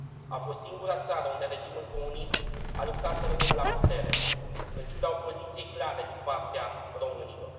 A fost singura țară unde regimul comunist a luptat să rămână la putere, în ciuda opoziției clare din partea românilor.